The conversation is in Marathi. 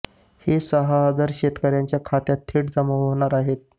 हे सहा हजार शेतकऱ्यांच्या खात्यात थेट जमा होणार आहेत